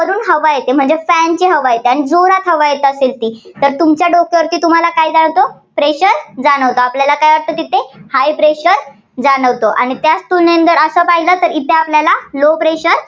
वरून हवा येते, म्हणजे fan ची हवा येते. आणि जोरात हवा येतात. तर तुमच्या डोक्यावरती तुम्हाला काय जाणवतो pressure जाणवतो. आपल्याला काय वाटतं तिथं high pressure जाणवतं. आणि त्याच तुलनेने जर असं पाहिलं तर इथं आपल्याला low pressure